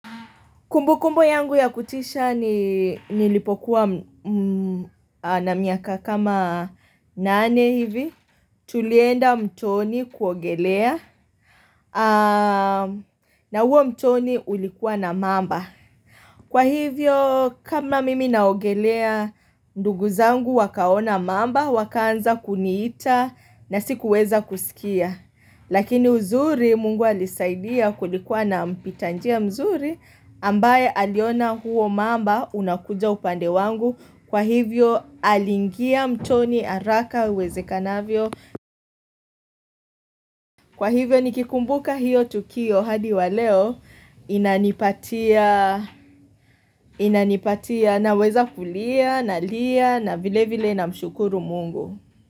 Kumbukumbu yangu ya kutisha ni nilipokuwa na miaka kama nane hivi. Tulienda mtoni kuogelea na huo mtoni ulikuwa na mamba. Kwa hivyo kama mimi naogelea ndugu zangu wakaona mamba wakaanza kuniita na sikuweza kusikia. Lakini uzuri mungu alisaidia kulikuwa na mpita njia mzuri ambaye aliona huo mamba unakuja upande wangu kwa hivyo aliingia mtoni haraka iwezekanavyo. Kwa hivyo nikikumbuka hiyo tukio hadi wa leo inanipatia inanipatia naweza kulia nalia na vile vile namshukuru mungu.